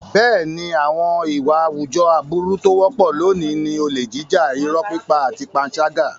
Bẹ́ẹ̀ni, àwọn ìwà àwùjọ aburú tó wọ́pọ̀ lónìí ni olè jíjà, irọ́ pípa àti panṣágà.